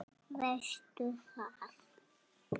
Veistu það?